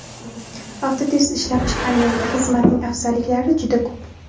Avtotest ishlab chiqqan yangi xizmatning afzalliklari juda ko‘p.